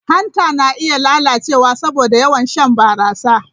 Hanta na iya lalacewa saboda yawan shan barasa.